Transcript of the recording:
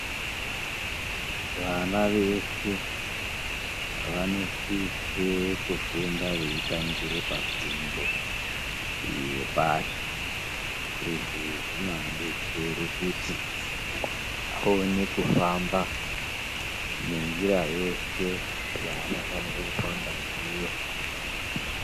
Vana veshe vanosise kufunda veitangire pafundo yepashi. Izvi zvinoadetsere kuti aone kufamba nenjira yeshe yaanofanire kufamba ndiyo.